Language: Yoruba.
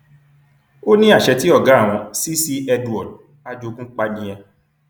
ó ní àṣẹ tí ọgá àwọn cc edward ajogun pa nìyẹn